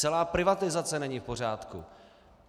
Celá privatizace není v pořádku.